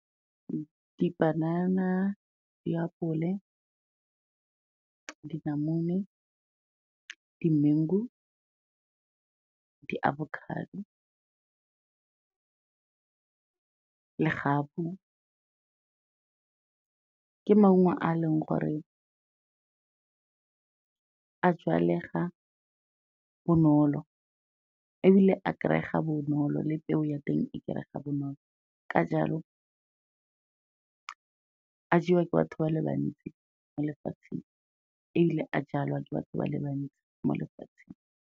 Dipanana, diapole, dinamune, di-mengu, di-avocado, legapu ke maungo a e leng gore a jalega bonolo, ebile a kry-ega bonolo, le peo ya teng e kry-ega bonolo. Ka jalo, a jewa ke batho ba le bantsi mo lefatsheng, ebile a jalwa ke batho ba le bantsi mo lefatsheng.